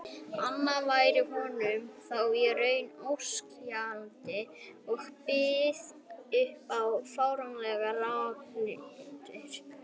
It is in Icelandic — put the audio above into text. anna væri honum þá í raun óskiljanleg og byði upp á fáránlegar rangtúlkanir.